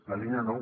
la línia nou